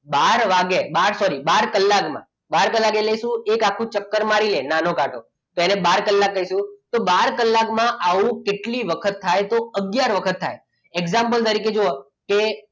બાર વાગે બાર કલાકમાં બાર કલાક એટલે શું? એક આખું ચક્કર મારી લે નાનો કાંટો તો એને બાર કલાક કહીશું તો બાર કલાકમાં આવું કેટલી વખત થાય તો આગયાર વખત થાય example તરીકે જુઓ કે